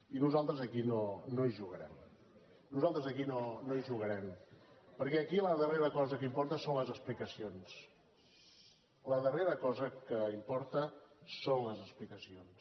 i nosaltres aquí no hi jugarem nosaltres aquí no hi jugarem perquè aquí la darrera cosa que importa són les explicacions la darrera cosa que im·porta són les explicacions